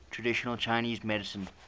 traditional chinese medicine